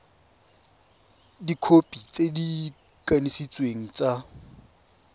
dikhopi tse di kanisitsweng tsa